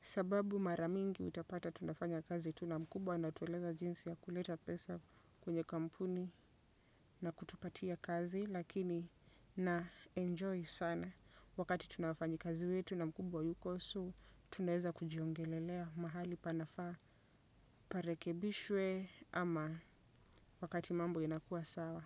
Sababu mara mingi utapata tunafanya kazi tu na mkubwa anatueleza jinsi ya kuleta pesa kwenye kampuni na kutupatia kazi. Lakini naenjoy sana wakati tuna wafanyi kazi wetu na mkubwa hayuko so tunaeza kujiongelelea mahali panafaa parekebishwe ama wakati mambo inakuwa sawa.